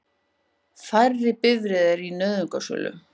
Færri bifreiðar í nauðungarsölu